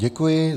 Děkuji.